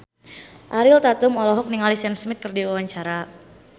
Ariel Tatum olohok ningali Sam Smith keur diwawancara